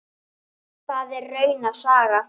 Það er rauna saga.